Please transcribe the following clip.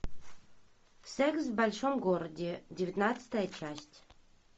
секс в большом городе девятнадцатая часть